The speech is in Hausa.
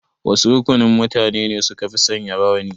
Wasu rukunin mutane ne sukafi sanya rawani?